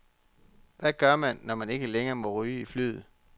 Hvad gør man, når man ikke længere må ryge i flyet.